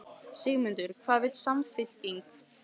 Sigmundur: Hvað vill Samfylkingin?